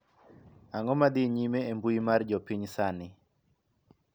ang'o ma dhi nyime e mbui mar jopiny sani